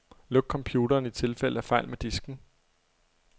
Luk computeren i tilfælde af fejl med disken.